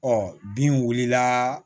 Ɔ bin wulila